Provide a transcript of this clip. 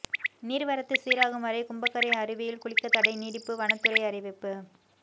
நீர்வரத்து சீராகும் வரை கும்பக்கரை அருவியில் குளிக்கத்தடை நீடிப்பு வனத்துறை அறிவிப்பு